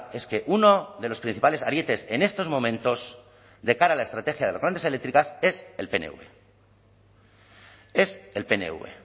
es que uno de los principales arietes en estos momentos de cara a la estrategia de las grandes eléctricas es el pnv es el pnv